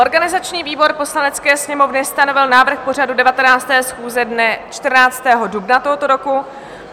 Organizační výbor Poslanecké sněmovny stanovil návrh pořadu 19. schůze dne 14. dubna tohoto roku.